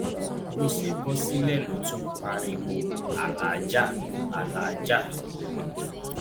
bó ṣe bọ sílẹ ló ti ń pariwo aláàjà alàájá